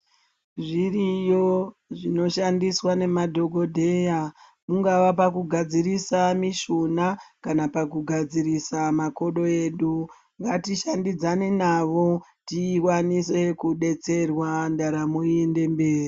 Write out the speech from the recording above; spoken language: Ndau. Zviriyo zvinoshandiswa ngemadhogodheya, kungava pakugadzirisa mishuna kana pakugadzirisa makodo. Ngatishandidzane navo tikwanise kudetserwa, ndaramo iende mberi